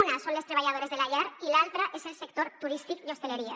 una són les treballadores de la llar i l’altra és el sector turístic i hostaleria